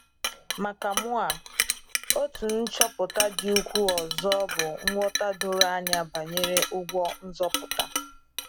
Maka mụa, otu nchọpụta dị ukwuu ọzọ bụ nghọta doro anya banyere ụgwọ nzọpụta.